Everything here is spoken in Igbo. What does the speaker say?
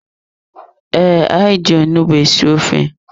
Ee, anyị ji onugbu esi ofe.